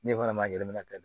Ne fana ma yɛlɛ min na ka